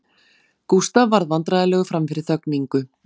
Gústaf varð vandræðalegur frammi fyrir þögn Ingu